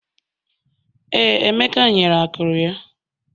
Ee, Emeka nyere akụrụ ya